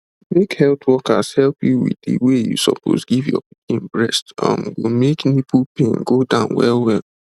make health workers help you with the way you suppose give your pikin breast um go make nipple pain go down well well